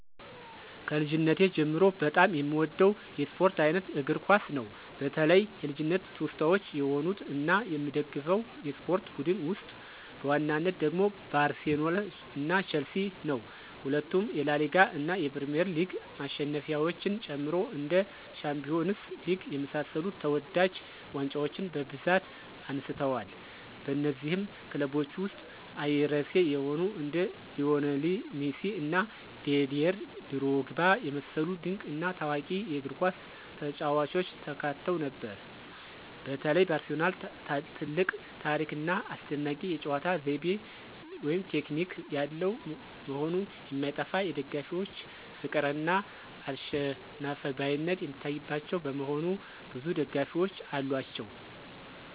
ከልጅነቴ ጀምሮ በጣም የምወደው የስፖርት አይነት እግር ኳስ ነው። በተለይ የልጅነት ትውስታዎች የሆኑት እና የምደግፈው የስፖርት ቡድን ውስጥ በዋናነት ደግሞ ባርሴሎና ቸልሲ ነው። ሁለቱም የላሊጋ እና የፕሪሚየር ሊግ ማሸነፊያዎችን ጨምሮ እንደ ሻምፒዮንስ ሊግ የመሳሰሉ ተወዳጅ ዋንጫዎችን በብዛት አንስተዋል። በነዚህም ክለቦች ውስጥ አይረሴ የሆኑ እንደ ሊዎኔል ሜሲ እና ዲዴር ድሮግባ የመሰሉ ድንቅ እና ታዋቂ የእግርኳስ ተጫዋቾች ተካተው ነበር። በተለይ ባርሴሎና ትልቅ ታሪክ ና አስደናቂ የጨዋታ ዘይቤ (ቴክኒክ) ያለው መሆኑ የማይጠፋ የደጋፊዎች ፍቅር እና አልሸነፍባይነት የሚታይባቸው በመሆኑ ብዙ ደጋፊዎች አሏቸው።